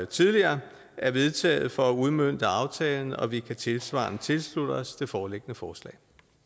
tidligere er vedtaget for at udmønte aftalen og vi kan tilsvarende tilslutte os det foreliggende forslag